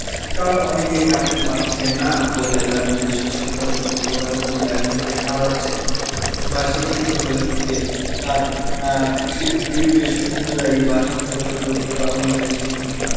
কারণ অনেকেই চাকরি পাচ্ছে না, বললে তার নিজস্ব শিক্ষাগত যোগ্যতার মূল্যায়নটা সে হারাচ্ছে বা শিক্ষিত হয়ে যে তার আহ education অনুযায়ী বা শিক্ষাগত যোগ্যতা অনুযায়ী সে কিন্তু তার,